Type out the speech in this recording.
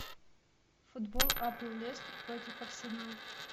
футбол апл лестер против арсенала